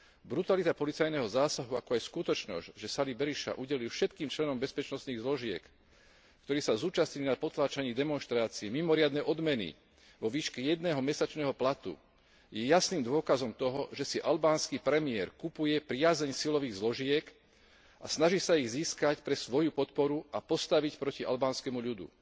Brutalita policajného zásahu, ako aj skutočnosť, že Sali Berisha udelil všetkým členom bezpečnostných zložiek, ktorí sa zúčastnili na potláčaní demonštrácie, mimoriadne odmeny vo výške jedného mesačného platu, je jasným dôkazom toho, že si albánsky premiér kupuje priazeň silových zložiek a snaží sa ich získať pre svoju podporu a postaviť proti albánskemu ľudu.